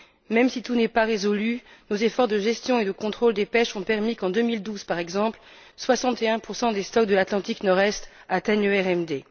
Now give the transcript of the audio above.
Même si tout n'est pas résolu, nos efforts de gestion et de contrôle des pêches ont permis qu'en 2012, par exemple, 61 des stocks de l'Atlantique Nord Est atteignent le RMD.